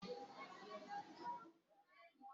Àwọn ẹ̀yà ará ọkọ̀ jẹ́ kò ṣée màá ni fún ọkọ̀ láti ṣiṣẹ́